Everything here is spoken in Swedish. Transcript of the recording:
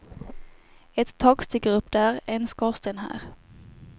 Ett tak sticker upp där, en skorsten här.